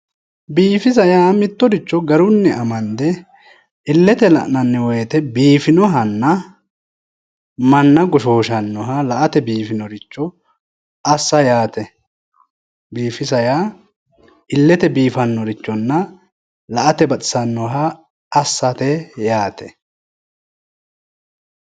biifisa yaa mittoricho garunni amande illete la'nanni woyte biifisinohanna manna goshshooshshannoha la'ate biifinnoha assa ayaate biifisa yaa illete biifannorichonna la'ate baxisannoha assa yaate.